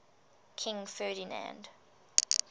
king ferdinand